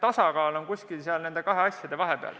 Aivar Kokk, palun!